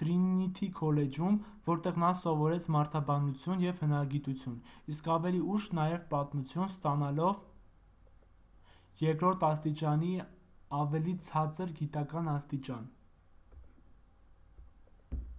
թրինիթի քոլեջում որտեղ նա սովորեց մարդաբանություն և հնագիտություն իսկ ավելի ուշ՝ նաև պատմություն` ստանալով 2:2 երկրորդ աստիճանի ավելի ցածր գիտական աստիճան: